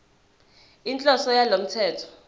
inhloso yalo mthetho